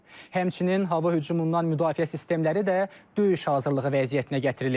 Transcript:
Həmçinin hava hücumundan müdafiə sistemləri də döyüş hazırlığı vəziyyətinə gətirilib.